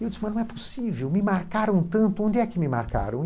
mas não é possível, me marcaram tanto, onde é que me marcaram?